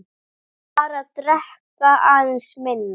Bara drekka aðeins minna.